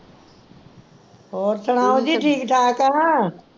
ਹੋਰ ਸੁਣਾਓ ਜੀ ਠੀਕ ਠਾਕ ਆ